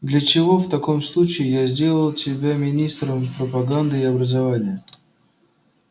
для чего в таком случае я сделал тебя министром пропаганды и образования